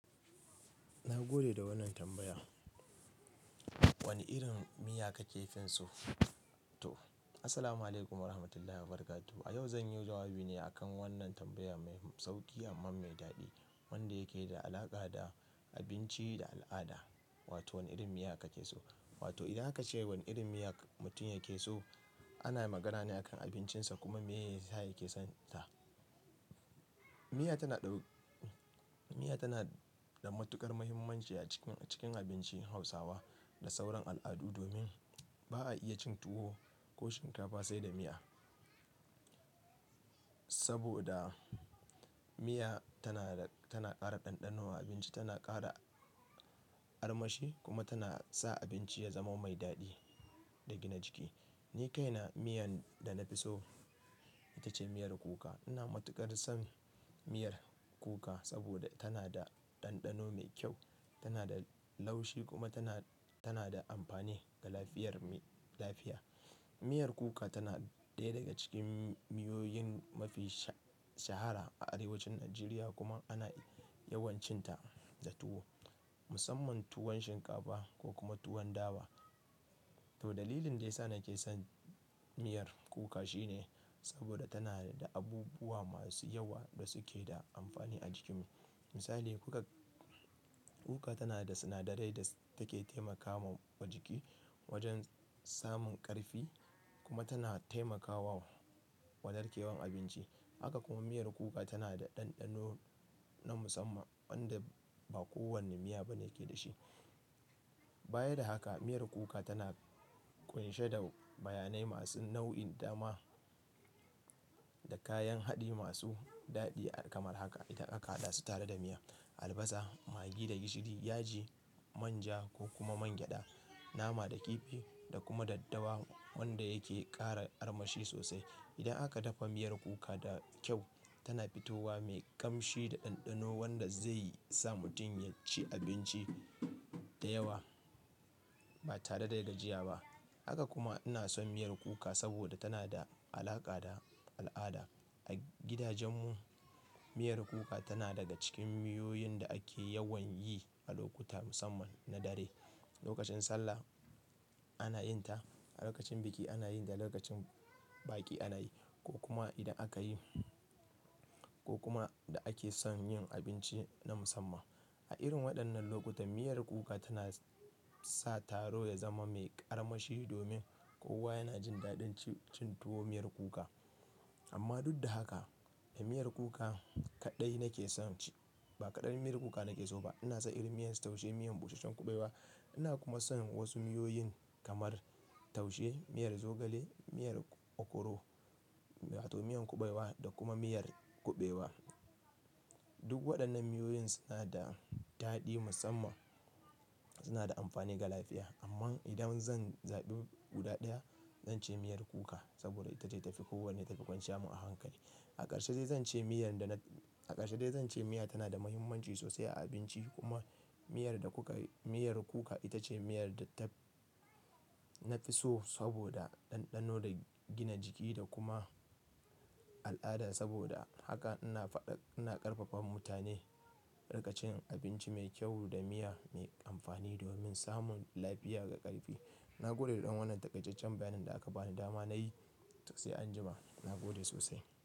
Na gode da wannan tambaya. Wane irin miya ka ke finsu to? Assalamualaikum warahmatullahi wabarakatuh. A yau zan yi jawabi ne akan wannan tambaya mai sauki amma mai daɗi wanda yake da alaƙa da abinci da al'ada. Wato wane irin miya ka ke so? Wato idan aka ce wane irin miya mutum yake so, ana magana ne akan abincinsa kuma miye yasa yake son ta. Miya tana ɗau-- miya tana da matuƙar muhimmanci a cikin, cikin abincin Hausawa da sauran al'adu domin ba a iya cin tuwo ko shinkafa sai da miya. Saboda miya tana, tana ƙara ɗanɗano wa abinci, tana ƙara armashi kuma tana sa abinci ya zama mai daɗi da gina jiki. Ni kaina miyan da na fi so ita ce miyar kuka. Ina matuƙar son miyar kuka saboda tana da ɗanɗano mai kyau, tana da laushi kuma tana, tana da amfani ga lafiyar mi-- lafiya. Miyar kuka tana ɗaya daga cikin miyoyin mafi shaha-shahara a arewacin Najeriya kuma ana yawan cin ta da tuwo, musamman tuwon shinkafa ko kuma tuwon dawa. To dalilin da ya sa nake son miyar kuka shine saboda tana da abubuwa masu yawa da suke da amfani a jikinmu. Misali, kuka, kuka tana da sinadarai da take taimakawa jiki wajen samun ƙarfi kuma tana taimaka wa, wa narkewar abinci. Haka kuma miyar kuka tana da ɗanɗano na musamman wanda ba kowane miya ba yake da shi. Baya da haka, miyar kuka tana ƙunshe da bayanai masu nauyin dama da kayan haɗi masu daɗi kamar haka, idan aka haɗa su tare da miya. Albasa, magi da gishiri, yaji, manja ko kuma mangyaɗa, nama da kifi da kuma daddawa wanda yake ƙara armashi sosai. Idan aka dafa miyar kuka da kyau, tana fitowa mai ƙamshi da ɗanɗano wanda zai sa mutum ya ci abinci da yawa ba tare da gajiya ba. Haka kuma ina son miyar kuka saboda tana da alaƙa da al'ada. A gidajenmu miyar kuka tana daga cikin miyoyin da ake yawan yi a lokuta musamman na dare, lokacin sallah ana yin ta, lokacin biki ana yi da lokacin baƙi ana yi. Ko kuma idan aka yi-- ko kuma da ake son yin abinci na musamman. A irin waɗannan lokuta, miyar kuka tana sa taro ya zama mai ƙarma shi domin kowa yana jin daɗin ci-cin tuwo miyar kuka. Amma duk da haka ba miyar kuka kaɗai nake son ci, ba kaɗan miyar kuka nake so ba. Ina son irin miya taushe, miyan busasshen kuɓewa. Ina kuma son wasu miyoyin kamar taushe, miyar zogale, miyar okoro wato miyan kuɓewa da kuma miyar kuɓewa. Duk waɗannan miyoyin suna da daɗi musamman, suna da amfani ga lafiya. Amma idan zan zaɓi guda ɗaya, zan ce miyar kuka saboda ita ce ta fi kowacce ta fi ƙunshe mu a hankali. A ƙarshe dai zan ce miyar da na-- a ƙarshe dai zan ce miya tana da muhimmanci sosai a abinci kuma miyar da kuka, miyar kuka ita ce miyar da taf-- na fi so saboda ɗanɗano da gina jiki da kuma al'ada. Saboda haka ina faɗa-- ina ƙarfafa mutane a riqa cin abinci mai kyau da miya mai amfani domin samun lafiya ga ƙarfi. Na gode da dan wannan taƙaiceccen bayanin da aka ba ni dama nayi. Sai anjima. Na gode sosai.